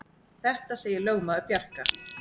Þetta segir lögmaður Bjarka.